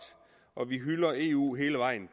og vi hylder eu hele vejen